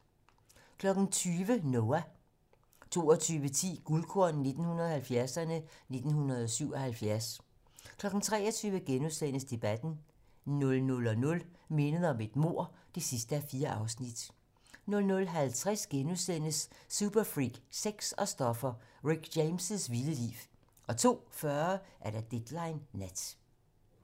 20:00: Noah 22:10: Guldkorn 1970'erne: 1977 23:00: Debatten * 00:00: Mindet om et mord (4:4) 00:50: Superfreak, sex og stoffer: Rick James' vilde liv * 02:40: Deadline nat